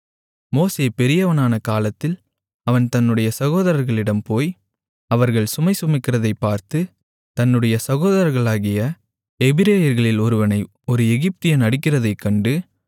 மோசே பெரியவனான காலத்தில் அவன் தன்னுடைய சகோதரர்களிடம் போய் அவர்கள் சுமைசுமக்கிறதைப் பார்த்து தன்னுடைய சகோதரர்களாகிய எபிரெயர்களில் ஒருவனை ஒரு எகிப்தியன் அடிக்கிறதைக் கண்டு